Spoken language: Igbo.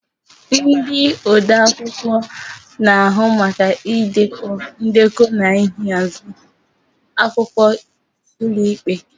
Ndị odeakwụkwọ na-ahụ maka idekọ ndekọ na ịhazi akwụkwọ ụlọikpe.